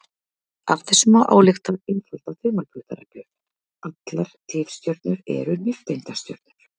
Af þessu má álykta einfalda þumalputtareglu: Allar tifstjörnur eru nifteindastjörnur.